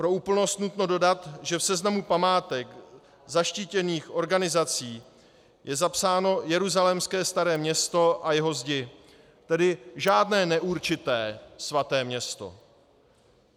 Pro úplnost nutno dodat, že v seznamu památek zaštítěných organizací je zapsáno jeruzalémské Staré město a jeho zdi, tedy žádné neurčité svaté město.